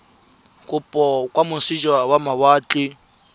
kopo kwa moseja wa mawatle